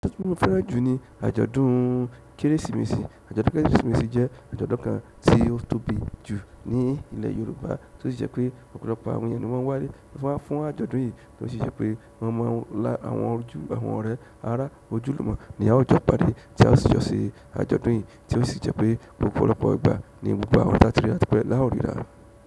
Àjọ̀dún mi fẹ́ràn jù ni àjọ̀dún Kérésìmesì. Àjọ̀dún Kérésìmesì jẹ́ àjọ̀dún kan tí ó tóbi jù ní ilẹ̀ Yorùbá tí ó sì jẹ́ pé ọ̀pọ̀lọpọ̀ àwọn ènìyàn ni wọ́n wá fún àjọ̀dún yìí tí ó sì jẹ́ pé wọ́n mú àwọn ọdún àwọn ọ̀rẹ́ ará ojúlùmọ̀ ní àwùjọ ìpàdé tí a sì jọ ṣe àjọ̀dún yìí tí ó sì jẹ́ pé ọ́pọ̀lọpọ̀ ìgbà ní gbogbo awa ti a ti ri ra ti pe ni a o riral.